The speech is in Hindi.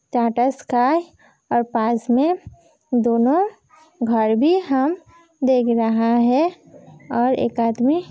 टाटा स्काई और पास में दोनों घर भी हम देख रहा है और एक आदमी --